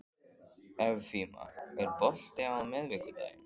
Evfemía, er bolti á miðvikudaginn?